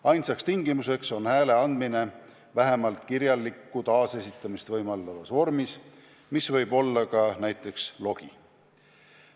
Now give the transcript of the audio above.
Ainus tingimus on hääle andmine vähemalt kirjalikku taasesitamist võimaldavas vormis, mis võib olla ka näiteks logi.